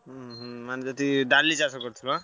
ଉଁହୁ ମାନେ ଯେତିକି ଡାଲି ଚାଷ କରିଥିଲ?